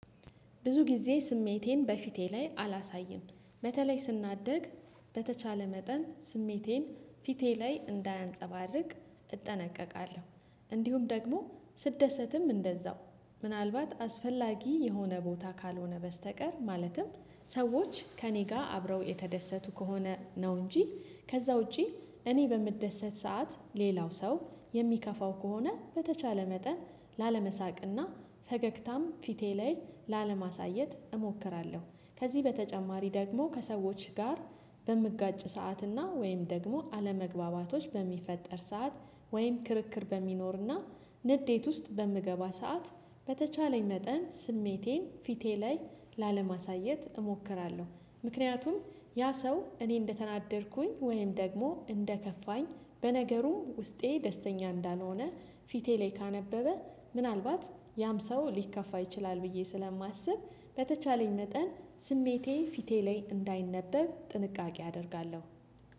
ብዙ ጊዜ ስሜቴን በፊቴ ላይ አላሳይም በተለይ ስናደድ በተቻለ መጠን ስሜቴን ፊቴ ላይ እንዳያንፀባርቅ እጠነቀቃለሁ። እንዲሁም ደግሞ ስደሰትም እንደዛው ምናልባት አስፈላጊ የሆነ ቦታ ካልሆነ በስተቀር ማለትም ሰዎች ከእኔ ጋር አብረው የተደሰቱ ከሆነ ነው እንጂ ከዛ ውጪ እኔ በምደሰት ሰዓት ሌላው ሰው የሚከፋው ከሆነ በተቻለ መጠን ላለመሳቅና ፈገግታም ፊቴ ላይ ላለማሳየት እሞክራለሁ። ከዚህ በተጨማሪ ደግሞ ከሰዎች ጋር በምጋጭ ሰዓትና ወይም ደግሞ አለመግባባቶች በሚፈጠር ሰዓት ወይም ክርክር በሚኖርና ንዴት ውስጥ በምገባ ሰዓት በተቻለኝ መጠን ስሜቴን ፊቴ ላይ ላለማሳየት እሞክራለሁ። ምክንያቱም ያ ሰው እኔ እንደተናደድኩኝ ወይም ደግሞ እንደከፋኝ በነገሩ ውስጤ ደስተኛ እንዳልሆነ ፊቴ ላይ ካነበበ ምናልባት ያም ሰው ሊከፋ ይችላል ብዬ ስለማስብ በተቻለኝ መጠን ስሜቴ ፊቴ ላይ እንዳይነበብ ጥንቃቄ አደርጋለሁ።